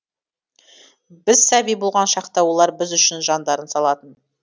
біз сәби болған шақта олар біз үшін жандарын салатын